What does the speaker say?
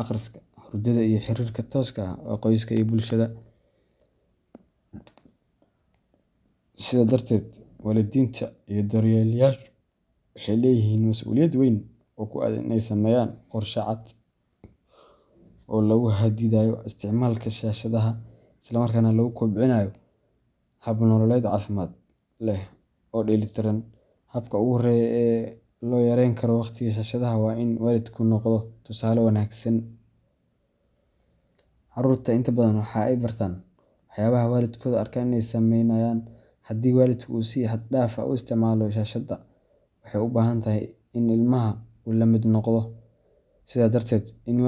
akhriska, hurdada iyo xiriirka tooska ah ee qoyska iyo bulshada. Sidaa darteed, waalidiinta iyo daryeelayaashu waxay leeyihiin mas’uuliyad weyn oo ku aaddan in ay sameeyaan qorshe cad oo lagu xaddidayo isticmaalka shaashadaha, isla markaana lagu kobcinayo hab nololeed caafimaad leh oo dheeli tiran. Habka ugu horeeya ee loo yareyn karo waqtiga shaashadda waa in waalidku noqdo tusaale wanaagsan. Carruurtu inta badan waxay bartaan waxyaabaha ay waalidkooda arkaan inay sameynayaan. Haddii waalidku si xad dhaaf ah u isticmaalo shaashadda, waxay u badan tahay in ilmaha uu la mid noqdo. Sidaa darteed, in waalidku.